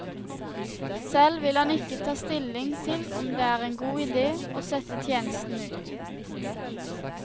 Selv vil han ikke ta stilling til om det er en god idé å sette tjenestene ut.